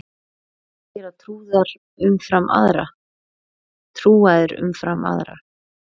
Hvað gera trúaðir umfram aðra?